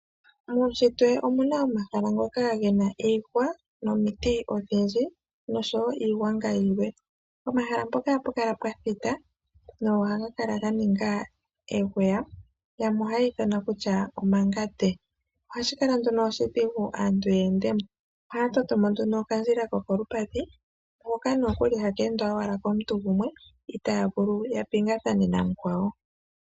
Muushitwe omu na omahala ngoka ge na iihwa nomiti odhindji noshowo iigwanga yilwe. Pomahala mpoka ohapu kala pwa thita nohaga kala ga ninga eguya, yamwe ohayi ithana kutya omangande. Ohashi kala nduno oshidhigu aantu ye ende mo. Ohaya toto mo nduno okandjila kokolupadhi hoka nokuli haka endwa owala komuntu gumwe itaa vulu ya pingathane namukwawo.